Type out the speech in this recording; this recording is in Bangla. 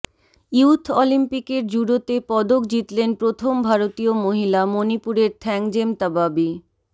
ইয়ুথ অলিম্পিকের জুডোতে পদক জিতলেন প্ৰথম ভারতীয় মহিলা মণিপুরের থ্যাংজেম তাবাবি